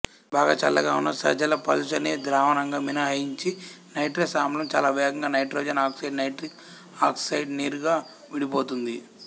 బాగా చల్లగా ఉన్న సజలపలుచని ద్రావణంగా మినహాయించి నైట్రస్ ఆమ్లం చాలావేగంగా నైట్రోజన్ ఆక్సైడ్ నైట్రిక్ ఆక్సైడ్ నీరుగా విడిపోతుంది